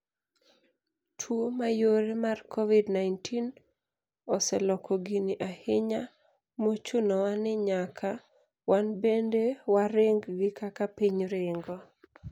Tuo mayore mar COVID-19 oseloko gini ahinya mochunowa ninyaka wanbende waring gi kaka piny ringo.